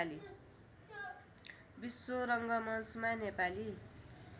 विश्व रङ्गमञ्चमा नेपाली